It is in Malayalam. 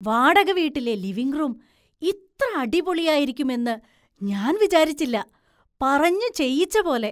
വാടകവീട്ടിലെ ലിവിംഗ്റൂം ഇത്ര അടിപൊളിയായിരുക്കും എന്ന് ഞാൻ വിചാരിച്ചില്ല! പറഞ്ഞു ചെയ്യിച്ചപോലെ!